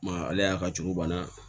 Ma ale y'a ka cogo banna